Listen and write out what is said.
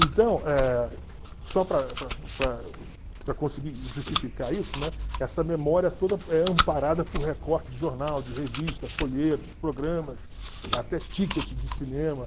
Então, eh só para para para para conseguir justificar isso, né? Essa memória toda é amparada por recorte de jornal, de revista, folhetos, programas, até ticket de cinema.